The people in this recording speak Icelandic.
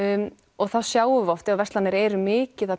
og þá sjáum við oft að verslanir eru mikið að